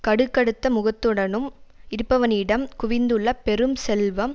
கடுகடுத்த முகத்துடனும் இருப்பவனிடம் குவிந்துள்ள பெரும் செல்வம்